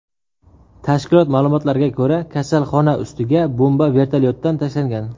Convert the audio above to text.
Tashkilot ma’lumotlariga ko‘ra, kasalxona ustiga bomba vertolyotdan tashlangan.